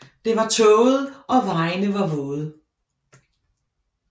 Det var tåget og vejene var våde